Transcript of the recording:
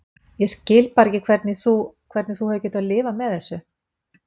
Ég skil bara ekki hvernig þú. hvernig þú hefur getað lifað með þessu.